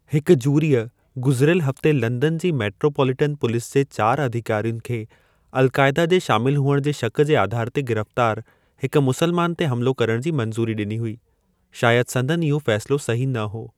हिकु जूरीअ, गुज़रियलु हफ़्ते लंदन जी मेटरोपोलिटन पुलिस जे चार अधिकारियुनि खे अल-कायदा जे शामिल हुअणु जे शक़ जे आधार ते गिरफ़्तारु हिक मुस्लमानु ते हमिलो करण जी मंजू़री ॾिनी हुई। शायदि संदनि इहो फ़ैसिलो सही न हो।